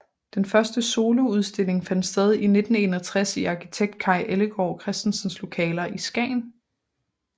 Den første soloudstilling fandt sted i 1961 i arkitekt Kaj Ellegaard Christensens lokaler i Skagen